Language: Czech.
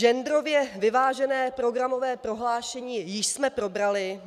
Genderově vyvážené programové prohlášení jsme již probrali.